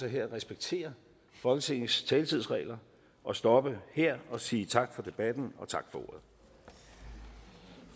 jeg at respektere folketingets taletidsregler og stoppe her og sige tak for debatten og tak